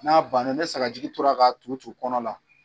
N'a banna ni sagajigi tora ka tun tun kɔnɔ na.